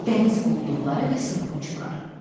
Dəniz quldurları və soyğunçular.